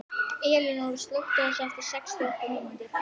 Elinóra, slökktu á þessu eftir sextíu og átta mínútur.